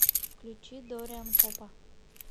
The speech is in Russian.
включи дориан попа